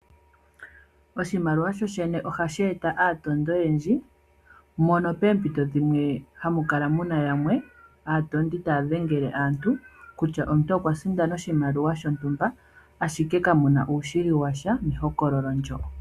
Oshimaliwa shoshene ohashi eta aatondi oyendji mono peempito dhimwe hamukala muna yamwe, aatondi taa dhengele aantu kutya omuntu okwa sindana oshimaliwa shontumba ashike kamuna uushili watya mehokololo ndjo.